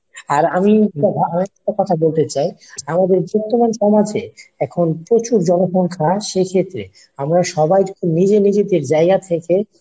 আর আমি আরেকটা কথা বলতে চাই আমাদের বর্তমান সমাজে প্রচুর জনসংখ্যা সেক্ষেত্রে আমরা সবাই নিজে নিজেদের জায়গা থেকে